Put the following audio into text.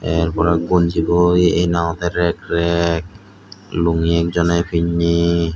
te er porey gonji bu ekkene rek rek lungi ekjoney pinney.